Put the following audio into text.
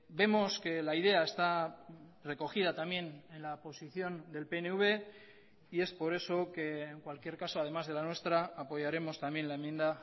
vemos que la idea está recogida también en la posición del pnv y es por eso que en cualquier caso además de la nuestra apoyaremos también la enmienda